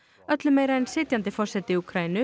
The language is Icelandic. öllu meira en sitjandi forseti Úkraínu